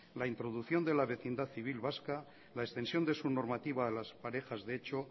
la introducción de la vecindad civil vasca la extensión de su normativa a las parejas de hecho